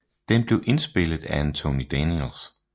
Den bliver spillet af Anthony Daniels